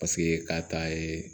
Paseke k'a ta yeee